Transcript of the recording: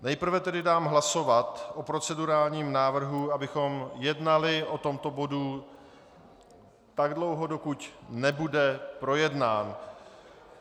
Nejprve tedy dám hlasovat o procedurálním návrhu, abychom jednali o tomto bodu tak dlouho, dokud nebude projednán.